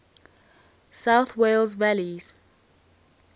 south wales valleys